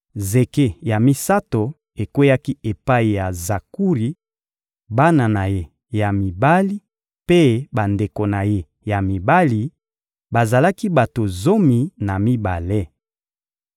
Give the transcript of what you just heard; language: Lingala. Zeke ya misato ekweyaki epai ya Zakuri, bana na ye ya mibali mpe bandeko na ye ya mibali: bazalaki bato zomi na mibale.